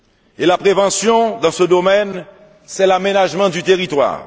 Et la prévention, dans ce domaine, c'est l'aménagement du territoire.